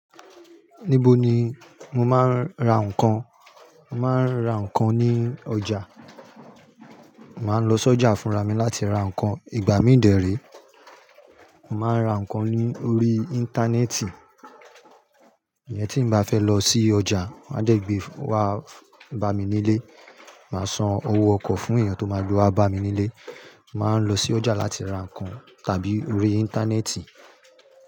Níbo ni mo máa ń ra ǹkan? Mo máa ń ra ǹkan ní ọjà. Màá lọ sí ọjà fúnra mí láti ra ǹkan. Ìgbà mí ń dẹ̀ré, màá ra ǹkan lórí Íńtánẹ́ẹ̀tì. Èyí tí mo bá fẹ́ lọ sí ọjà, màá jẹ́ gbé wa bá mi nílé. Màá san owó ọkọ̀ fún ènìyàn tó máa gbá wa bá mi nílé. Màá lọ sí ọjà láti ra ǹkan tàbí orí Íńtánẹ́ẹ̀tì.